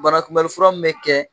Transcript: Banakunbɛn fura min bɛ kɛ